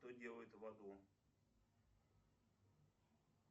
что делают в аду